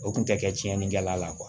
O kun tɛ kɛ tiɲɛni kɛla la